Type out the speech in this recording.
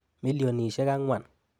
Milionisiek angwan